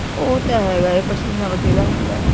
ਉਹ ਤਾਂ ਹੈ ਪਸੀਨਾ ਤਾਂ ਚੜ੍ਹਦਾ ਹੁੰਦਾ।